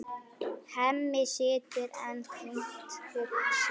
Hemmi situr enn þungt hugsi.